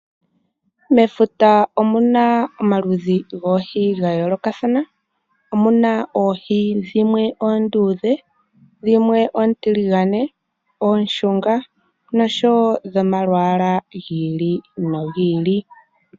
Mefuta omu na omaludhi goohi ga yoolokathana. Omu na oohi dhimwe oonduudhe, dhimwe oontiligane, oonshunga, nosho wo dhomalwaala gi ili nogi ili.